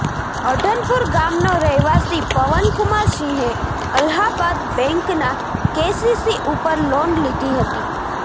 અઢનપુર ગામનો રહેવાસી પવન કુમાર સિંહે અલ્હાબાદ બેન્કના કેસીસી ઉપર લોન લીધી હતી